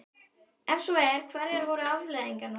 Ef svo er, hverjar voru afleiðingarnar?